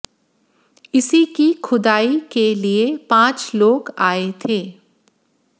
इसी की खुदाई के लिए पांच लोग आए थे